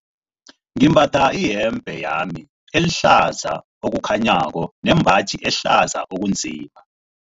Ngimbatha iyembe lami elihlaza okukhanyako nembaji ehlaza okunzima.